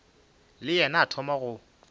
le yena a thoma go